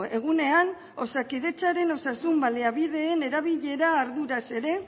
egunean osakidetzaren osasun baliabideen erabilera arduraz ere